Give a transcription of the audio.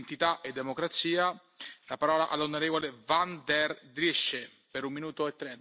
Voorzitter, sinds enkele jaren worden we overspoeld door ongewenste migratie.